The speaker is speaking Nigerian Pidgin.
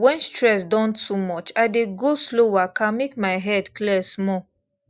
when stress don too much i dey go slow waka make my head clear small